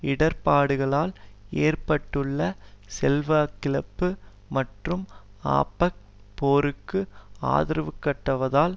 இடர்பாடுகளால் ஏற்பட்டுள்ள செல்வாக்கிழப்பு மற்றும் ஆப்பக் போருக்கு ஆதரவைக்காட்டுவதால்